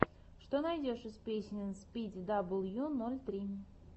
что найдешь из песен спиди дабл ю ноль три